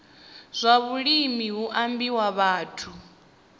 zwa vhulimi hu ambiwa vhathu